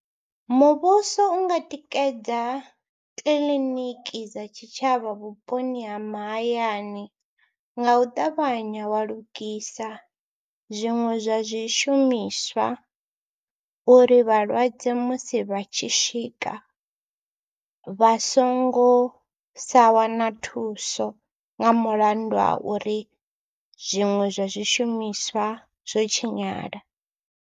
Muvhuso u nga tikedza kiḽiniki dza tshitshavha vhuponi ha mahayani nga u ṱavhanya wa lugisa zwiṅwe zwa zwishumiswa uri vhalwadze musi vha tshi swika vha songo sa wana thuso nga mulandu wa uri zwiṅwe zwa zwishumiswa zwo tshinyala.